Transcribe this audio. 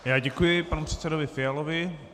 Já děkuji panu předsedovi Fialovi.